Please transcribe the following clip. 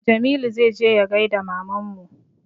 Jamilu zai je ya gaida mamanmu